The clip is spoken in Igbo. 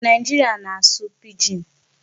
Nigeria na-asụ 'Pidgin'